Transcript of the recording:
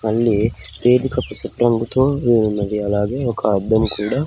మళ్ళీ వేదికకు తో యున్నది అలాగే ఒక అద్దం కూడా.